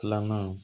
Filanan